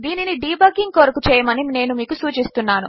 దీనినిడీబగ్గింగ్కొరకుచేయమనినేనుమీకుసూచిస్తున్నాను